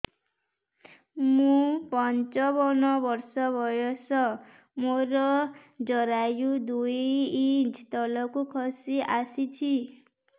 ମୁଁ ପଞ୍ଚାବନ ବର୍ଷ ବୟସ ମୋର ଜରାୟୁ ଦୁଇ ଇଞ୍ଚ ତଳକୁ ଖସି ଆସିଛି